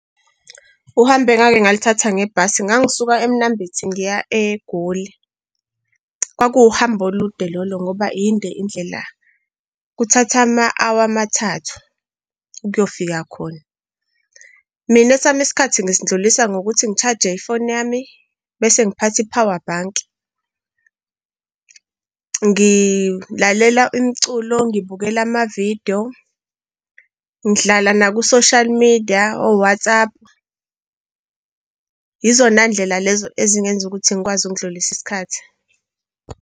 Uhambo engake ngaluthatha ngebhasi, ngangisuke eMnambithi ngiya eGoli. Kwakuwu uhambo olude lolo, ngoba yinde indlela kuthatha ama-hour amathathu ukuyofika khona. Mina esami isikhathi ngisindlulisa ngokuthi ngi-charge-e ifoni yami bese ngiphatha i-power bank, ngilalela imiculo, ngibukela amavidiyo, ngidlala naku-social media, oWhatsApp. Izona ndlela lezo ezingenza ukuthi ngikwazi ukundlulisa isikhathi.